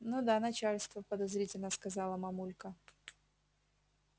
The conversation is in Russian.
ну да начальство подозрительно сказала мамулька